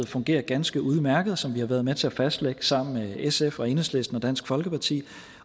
fungerer ganske udmærket og som vi har været med til at fastlægge sammen med sf enhedslisten og dansk folkeparti